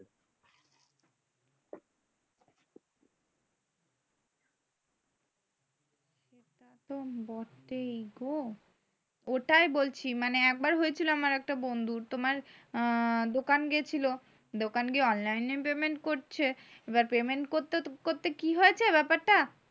তাতো বটেই গো। ওটাই বলছি মানে একবার হয়ে ছিলো আমার একটা বন্ধুর। তোমার দোকান গেছিলো দোকান গিয়ে online এ payment করছে। এ বার payment করতে~করতে কি হয়েছে ব্যাপারটা।